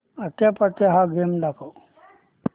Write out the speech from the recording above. आट्यापाट्या हा गेम दाखव